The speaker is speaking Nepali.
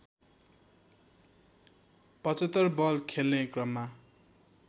७५ बल खेल्ने क्रममा